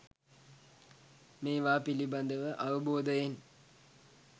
මේවා පිළිබඳව අවබෝධයෙන්